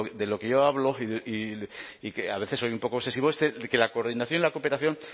de lo que yo hablo y que a veces soy un poco obsesivo es de que la coordinación y la cooperación